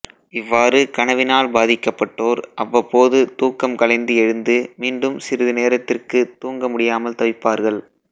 இவ்வாறு கனவினால் பாதிக்கப்பட்டோர் அவ்வப்போது தூக்கம் கலைந்து எழுந்து மீண்டும் சிறிது நேரத்திற்குத் தூங்க முடியாமல் தவிப்பார்கள்